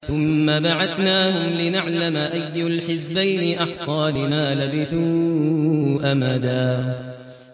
ثُمَّ بَعَثْنَاهُمْ لِنَعْلَمَ أَيُّ الْحِزْبَيْنِ أَحْصَىٰ لِمَا لَبِثُوا أَمَدًا